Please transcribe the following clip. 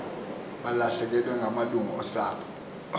balahlekelwe ngamalungu osapho